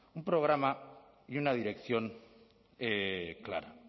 un programa y una dirección clara